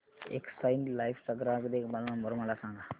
Exide life चा ग्राहक देखभाल नंबर मला सांगा